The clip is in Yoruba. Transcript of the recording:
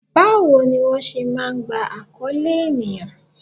Báwo ni wón ṣé máa ń gba akoole ènìyàn?